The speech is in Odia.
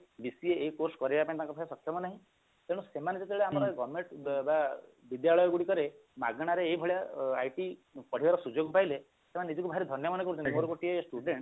DCA ଏଇ ସବୁ course କରିବା ପାଇଁ ତାଙ୍କ ପାଖରେ ସକ୍ଷମ ନାହିଁ ତେଣୁ ସେମାନେ ଯେତେବେଳେ ଆମର government ବା ବିଦ୍ୟାଳୟ ଗୁଡିକରେ ମାଗଣାରେ ଏଇଭଳିଆ IT କରିବାର ସୁଯୋଗ ପାଇଲେ ସେମାନେ ନିଜକୁ ଭାରି ଧନ୍ଯ ମାନେ କରୁଛନ୍ତି ମୋର ଗୋଟିଏ student